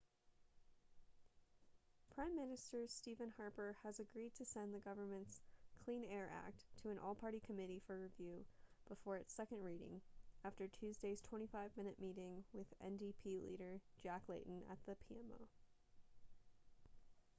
prime minister stephen harper has agreed to send the government's clean air act' to an all-party committee for review before its second reading after tuesday's 25 minute meeting with ndp leader jack layton at the pmo